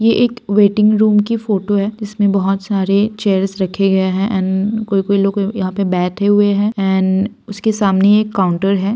ये एक waiting room की फोटो है इसमें बहुत सारे चेयर रखे गए हैं एंड कोई-कोई लोग यहाँ पे बैठे हुए हैं एंड उसके सामने एक काउंटर है।